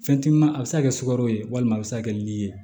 Fɛntima a bɛ se ka kɛ sukaro ye walima a bɛ se ka kɛ li ye